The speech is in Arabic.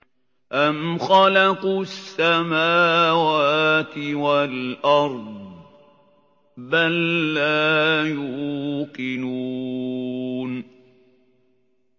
أَمْ خَلَقُوا السَّمَاوَاتِ وَالْأَرْضَ ۚ بَل لَّا يُوقِنُونَ